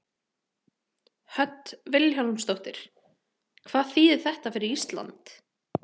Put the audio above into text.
Hödd Vilhjálmsdóttir: Hvað þýðir þetta fyrir Ísland?